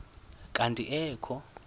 kanti ee kho